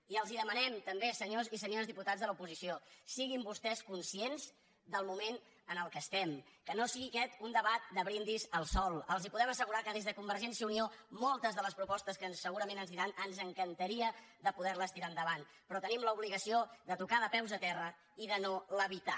i els demanem també senyors i senyores diputats de l’oposició siguin vostès conscients del moment en què estem que no sigui aquest un debat de brindis al sol els podem assegurar que des de convergència i unió moltes de les propostes que segurament ens diran ens encantaria poder les tirar endavant però tenim l’obligació de tocar de peus a terra i de no levitar